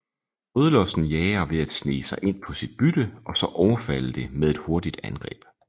Rødlossen jager ved at snige sig ind på sit bytte og så overfalde det med et hurtigt angreb